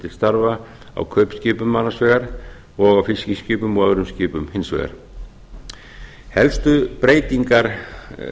til starfa á kaupskipum annars vegar og á fiskiskipum og öðrum skipum hins vegar helstu breytingar